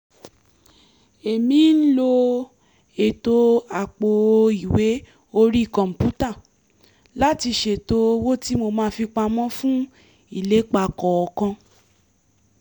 èmi ń lo ètò àpò-ìwé orí kọ̀ǹpútà láti ṣètò owó tí mo máa fi pamọ́ fún ìlépa kọ̀ọ̀kan